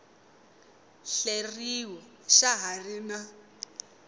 hleriw xa ha ri na